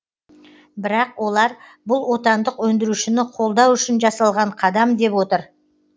бірақ олар бұл отандық өндірушіні қолдау үшін жасалған қадам деп отыр